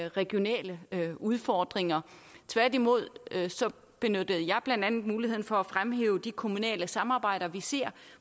regionale udfordringer tværtimod benyttede jeg blandt andet muligheden for at fremhæve de kommunale samarbejder vi ser